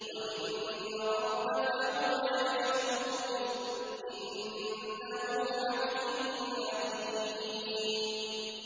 وَإِنَّ رَبَّكَ هُوَ يَحْشُرُهُمْ ۚ إِنَّهُ حَكِيمٌ عَلِيمٌ